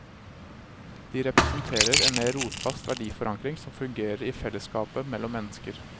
De representerer en mer rotfast verdiforankring som fungerer i fellesskapet mellom mennesker.